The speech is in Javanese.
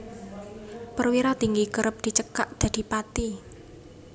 Perwira Tinggi kerep dicekak dadi Pati